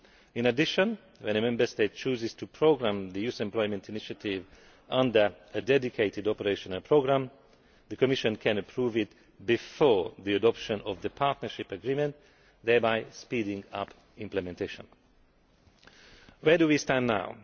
In addition, when a Member State chooses to programme the Youth Employment Initiative under a dedicated operational programme, the Commission can approve it before the adoption of the partnership agreement, thereby speeding up implementation. Where do we stand